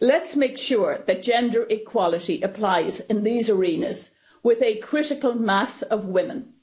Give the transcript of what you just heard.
Let's make sure that gender equality applies in these arenas with a critical mass of women.